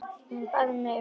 Hún bað mig um hjálp.